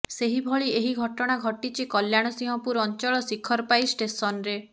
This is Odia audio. ସେହିଭଳି ଏକ ଘଟନା ଘଟିଛି କଲ୍ୟାଣସିଂହପୁର ଅଞ୍ଚଳ ଶିଖରପାଇ ଷ୍ଟେସନରେ